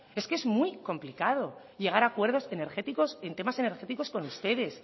es que es muy complicado llegar a acuerdos energéticos en temas energéticos con ustedes